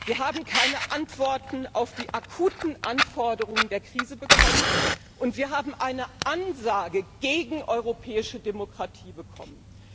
Wir haben keine Antworten auf die akuten Anforderungen der Krise bekommen, und wir haben eine Ansage gegen europäische Demokratie bekommen.